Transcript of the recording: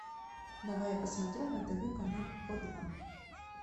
давай я посмотрю на тв канал о два